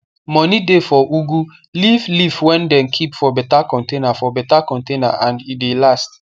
moni dey for ugu leave leaf wey dem keep for beta container for beta container and e de last